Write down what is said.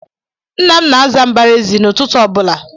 Ńnà m na-aza mbaraezi n'ututu ọbula.